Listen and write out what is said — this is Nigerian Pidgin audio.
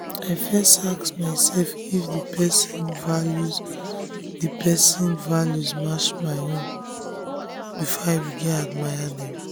she dey like leaders wey fit confirm their mistake and learn from am.